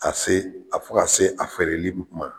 Ka se a fɔ ka se a fɛɛrɛli ma